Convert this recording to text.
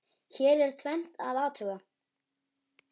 Hér er tvennt að athuga.